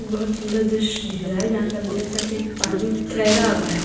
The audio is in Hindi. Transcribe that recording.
बहुत सुंदर दृश्य दिख रहा है जहाँ पे आप देख सकते है की पानी ठेहरा हुआ है।